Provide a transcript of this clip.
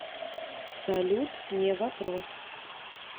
салют не вопрос